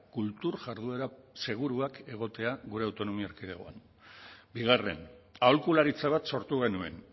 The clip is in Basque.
kultur jarduera seguruak egotea gure autonomia erkidegoan bigarren aholkularitza bat sortu genuen